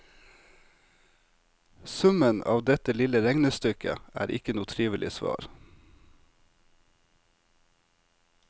Summen av dette lille regnestykket er ikke noe trivelig svar.